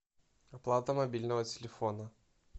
оплата мобильного телефона